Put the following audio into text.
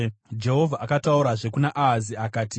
Jehovha akataurazve kuna Ahazi akati,